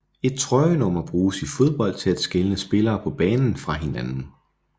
Et trøjenummer bruges i fodbold til at skelne spillere på banen fra hinanden